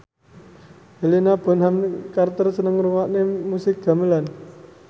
Helena Bonham Carter seneng ngrungokne musik gamelan